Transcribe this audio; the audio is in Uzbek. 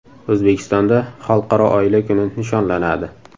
O‘zbekistonda Xalqaro oila kuni nishonlanadi.